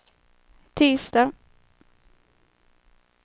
tisdag